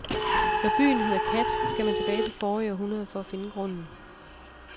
Når byen hedder kat, skal man tilbage til forrige århundred for at finde grunden.